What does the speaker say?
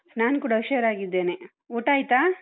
ನಾನ್ ಕೂಡ ಹುಷಾರಾಗಿದ್ದೇನೆ. ಊಟ ಆಯ್ತಾ?